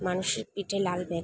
মানুষের পিঠে লাল ব্যাগ ।